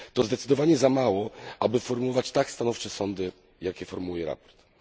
To zdecydowanie za mało, aby formułować tak stanowcze sądy, jakie formułuje sprawozdanie.